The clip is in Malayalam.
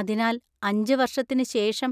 അതിനാൽ, അഞ്ച്‌ വർഷത്തിന് ശേഷം